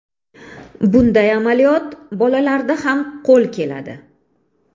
Bunday amaliyot bolalarda ham qo‘l keladi.